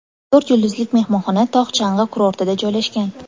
To‘rt yulduzlik mehmonxona tog‘-chang‘i kurortida joylashgan.